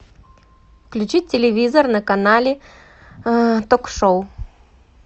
включить телевизор на канале ток шоу